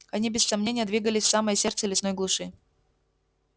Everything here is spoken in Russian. они без сомнения двигались в самое сердце лесной глуши